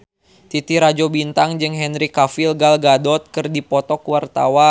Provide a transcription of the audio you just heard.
Titi Rajo Bintang jeung Henry Cavill Gal Gadot keur dipoto ku wartawan